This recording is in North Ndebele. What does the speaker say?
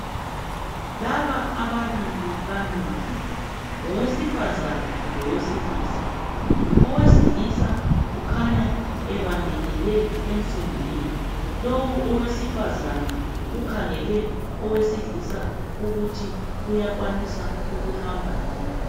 Laba ababili bamile. Ngowesifazana lowesilisa. Owesilisa kukhanya ebambelele ensimbini lowu owesifazana ukhangele owesilisa ukuthi uyakwanisa ukuhamba yini.